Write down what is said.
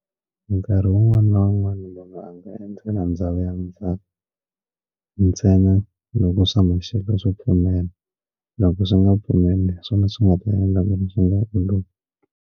Nkarhi wun'wani na wun'wani lomu a nga endzela ndhawu ya ndzhaka ntsena loko swa maxelo swo pfumela loko swi nga pfumeli hi swona swi nga ta endla .